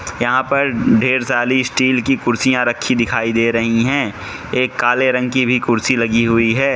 यहां पर ढेर सारी स्टील की कुर्सियां रखी दिखाई दे रही हैं एक काले रंग की भी कुर्सी लगी हुई है।